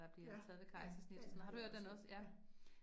Ja, ja, ja, den har jeg også hørt ja